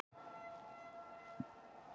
Ég held að allir í hópnum hugsi eins.